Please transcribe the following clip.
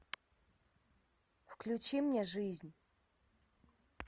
включи мне жизнь